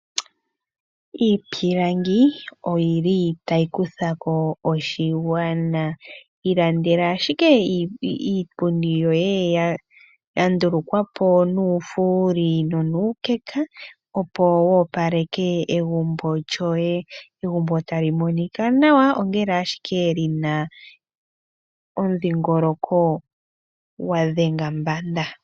Iipilangi otayi kutha ko oshigwana. Ilandela iipundi yoye yandulukwa po nuufuuli nonuukeka opo wu opaleke egumbo lyoye, egumbo tali monika nawa lina omudhiingoloko gwa dhenga mbanda.